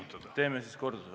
No nii, ma siis kordan.